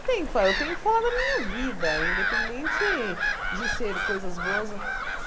Eu tenho que falar eu tenho que falar da minha vida, independente de ser coisas boas ou.